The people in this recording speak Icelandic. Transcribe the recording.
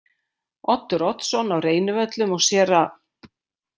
Oddur Oddsson á Reynivöllum og séra